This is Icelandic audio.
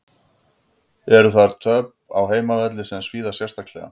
Eru þar töp á heimavelli sem svíða sérstaklega.